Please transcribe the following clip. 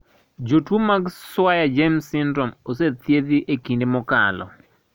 Jotuo mag Swyer James syndrome osethiedhi ekinde mokalo.